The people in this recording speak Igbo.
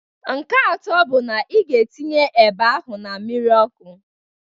Nke atọ bụ na ị ga-etinye eba ahụ na mmiri ọkụ